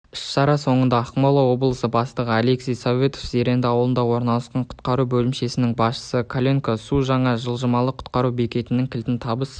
іс-шара соңында ақмола облысы бастығы алексей советов зеренді ауылында орналасқан құтқару бөлімшесінің басшысы кленько су жаңа жылжымалы құтқару бекетінің кілтін табыс